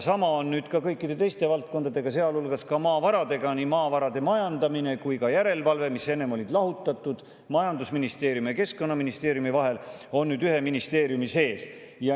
Sama on ka kõikide teiste valdkondadega, sealhulgas maavaradega: nii maavarade majandamine kui ka järelevalve, mis enne olid lahutatud majandusministeeriumi ja Keskkonnaministeeriumi vahel, on nüüd ühes ministeeriumis.